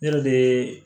Ne yɛrɛ bɛ